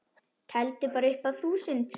Teldu bara upp að þúsund.